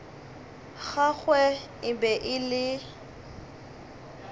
gagwe e be e le